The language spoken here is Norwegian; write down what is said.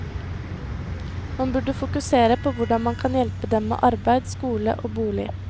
Man burde fokusere på hvordan man kan hjelpe dem med arbeid, skole og bolig.